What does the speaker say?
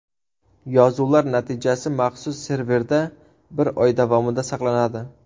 Yozuvlar natijasi maxsus serverda bir oy davomida saqlanadi.